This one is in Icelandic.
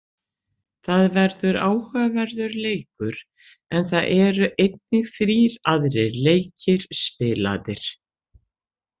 Það verður áhugaverður leikur, en það eru einnig þrír aðrir leikir spilaðir.